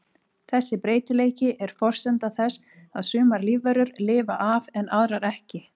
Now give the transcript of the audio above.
Þessi breytileiki er forsenda þess að sumar lífverur lifa af en aðrar ekki.